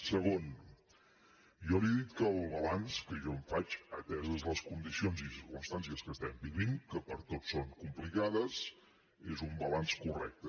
segon jo li he dit que el balanç que jo en faig ateses les condicions i circumstàncies que estem vivint que per a tots són complicades és un balanç correcte